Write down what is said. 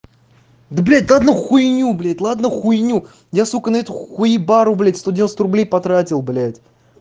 да блядь да одну хуйню блять ладно хуйню я сука на сука хуебару сто девяносто рублей потратил блять